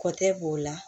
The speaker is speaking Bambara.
Kɔ tɛ b'o la